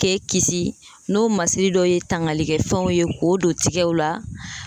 K'e kisi n'o masiri dɔ ye tangalikɛ fɛnw ye k'o don tigɛw la.